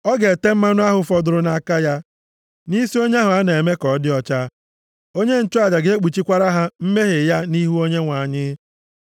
Ọ ga-ete mmanụ ahụ fọdụrụ nʼaka ya, nʼisi onye ahụ a na-eme ka ọ dị ọcha. Onye nchụaja ga-ekpuchikwara ha mmehie ya nʼihu Onyenwe anyị.